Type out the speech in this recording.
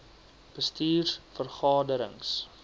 bestuurs vergade rings